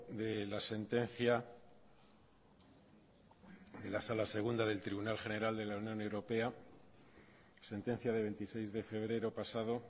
de la sentencia de la sala segunda del tribunal general de la unión europea sentencia de veintiséis de febrero pasado